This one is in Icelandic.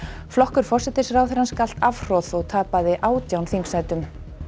flokkur forsætisráðherrans galt afhroð og tapaði átján þingsætum